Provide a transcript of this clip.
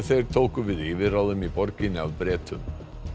þeir tóku við yfirráðum í borginni af Bretum